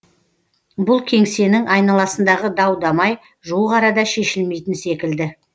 бұл кеңсенің айналасындағы дау дамай жуық арада шешілмейтін секілді